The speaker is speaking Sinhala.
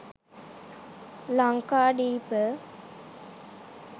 lanka deepa